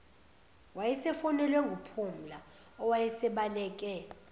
wayesefonelwe nguphumla owasebaleke